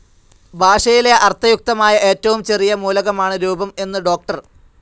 ഭാഷയിലെ അർത്ഥയുക്തമായ ഏറ്റവും ചെറിയ മൂലകമാണ് രൂപം എന്നു ഡോക്ടർ.